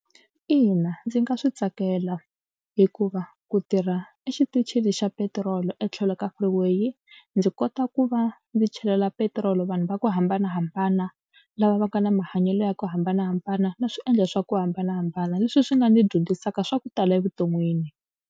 Ina ndzi nga swi tsakela hikuva ku tirha exitichini xa petirolo etlhelo ka freeway ndzi kota ku va ndzi chelela petiroli vanhu va ku hambanahambana lava va nga na mahanyelo ya ku hambanahambana na swi endla swa ku hambanahambana leswi swi nga ni dyondzisaka swa ku tala evuton'wini.